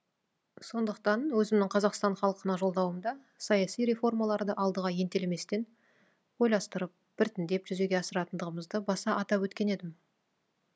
сондықтан өзімнің қазақстан халқына жолдауымда саяси реформаларды алдыға ентелеместен ойластырып біртіндеп жүзеге асыратындығымызды баса атап өткен едім